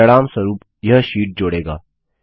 परिणामस्वरूप यह शीट जोड़ेगा